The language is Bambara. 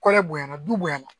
Kɔrɛ bonya na du bonyan na